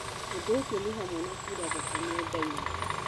Ũndũ ũcio nĩ hamwe na kuura thakame nda-inĩ.